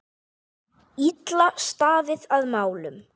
Illa staðið að málum.